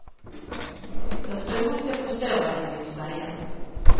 Jag tror att jag förstår vad den vill säga.